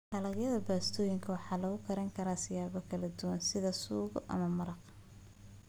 Dalagyada baastooyinka waxaa lagu karin karaa siyaabo kala duwan sida suugo ama maraqa.